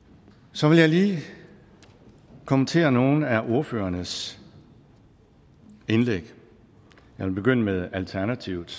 så vil jeg lige kommentere nogle af ordførernes indlæg jeg vil begynde med alternativets